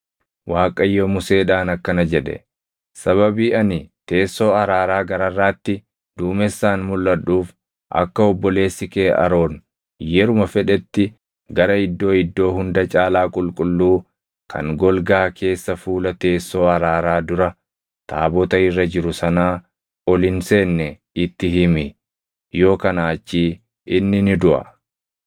Waaqayyo Museedhaan akkana jedhe; “Sababii ani teessoo araaraa gararraatti duumessaan mulʼadhuuf akka obboleessi kee Aroon yeruma fedhetti gara Iddoo Iddoo Hunda Caalaa Qulqulluu kan golgaa keessa fuula teessoo araaraa dura taabota irra jiru sanaa ol hin seenne itti himi; yoo kanaa achii inni ni duʼa.